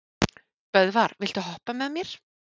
Böðvar, viltu hoppa með mér?